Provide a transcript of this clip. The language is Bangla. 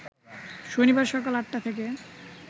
শনিবার সকাল ৮টা থেকে